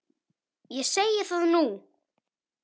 Ég segi það nú!